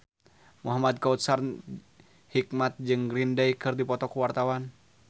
Muhamad Kautsar Hikmat jeung Green Day keur dipoto ku wartawan